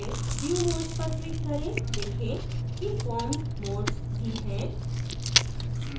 फिर view modes पर click करें देखें कि form modes भी है